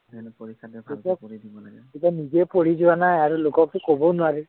তই নিজেই পঢ়ি যোৱা নাই আৰু লোককতো কবও নোৱাৰি